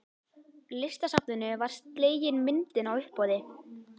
Listasafninu var slegin myndin á uppboði.